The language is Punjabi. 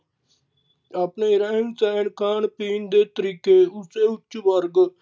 ਆਪਣੇ ਰਹਿਣ-ਸਹਿਣ, ਖਾਣ-ਪੀਣ ਦੇ ਤਰੀੇਕੇ ਅਤੇ ਉੱਚ ਵਰਗ